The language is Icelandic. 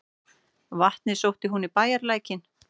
Vatnið sótti hún í bæjarlækinn.